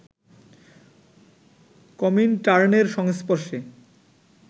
কমিনটার্নের সংস্পর্শে